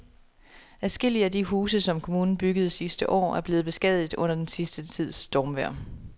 Adskillige af de huse, som kommunen byggede sidste år, er blevet beskadiget under den sidste tids stormvejr.